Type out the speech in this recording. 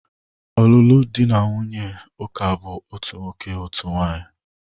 Ọlụlụ dị na nwunye ndị ụka bụ otu nwoke, otu nwaanyị